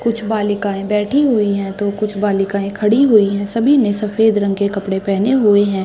कुछ बालिकाएँ बैठी हुई है तो कुछ बालिकाएँ खड़ी हुई है सभी ने सफ़ेद रंग के कपड़े पेहने हुए है।